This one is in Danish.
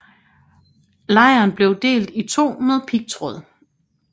Lejren blev delt i to med pigtråd